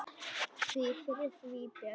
Því fyrr, því betra.